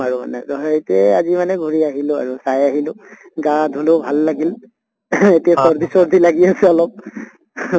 আৰু মানে তʼ সেইটোয়ে আজি মানে ঘুৰি আহিলো আৰু চাই আহিলো। হা ধোলো ভাল লাগিল। এতিয়া চৰ্দি চৰ্দি লাগি আছে অলপ।